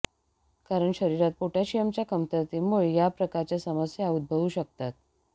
कारण शरीरात पोटॅशियमच्या कमतरतेमुळे या प्रकारच्या समस्या उद्भवू शकतात